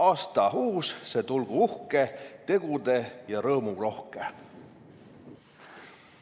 Aasta uus see tulgu uhke, tegude- ja rõõmurohke!"